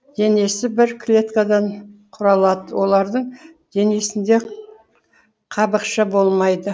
денесі бір клеткадан құрылады олардың денесінде қабықша болмайды